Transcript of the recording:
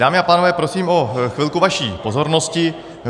Dámy a pánové, prosím o chvilku vaší pozornosti.